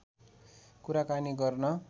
कुराकानी गर्न